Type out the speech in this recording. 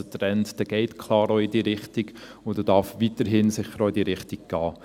Der Trend geht auch klar in diese Richtung und darf sicher auch weiterhin in diese Richtung gehen.